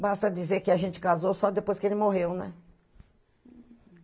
Basta dizer que a gente casou só depois que ele morreu, né?